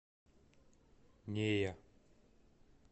нея